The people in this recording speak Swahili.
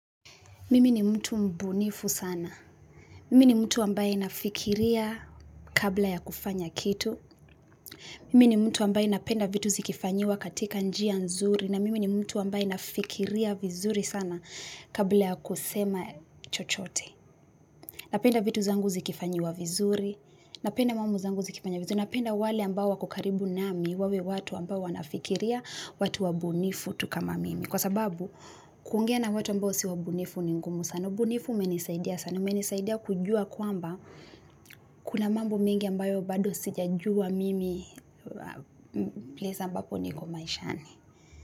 Mimi ni mtu mbunifu sana. Mimi ni mtu ambaye nafikiria kabla ya kufanya kitu. Mimi ni mtu ambaye napenda vitu zikifanyiwa katika njia nzuri. Na mimi ni mtu ambaye nafikiria vizuri sana kabla ya kusema chochote. Napenda vitu zangu zikifanyiwa vizuri. Napenda mammbo zangu zikifanyiwa vizuri. Napenda wale ambao wako karibu nami, wawe watu ambao wanafikiria, watu wabunifu tu kama mimi. Kwa sababu, kuongea na watu ambao si wabunifu ni ngumu sana. Ubunifu umenisaidia sana. Umenisaidia kujua kwamba kuna mambo mingi ambayo bado sij jua mimi place ambapo niko maishani.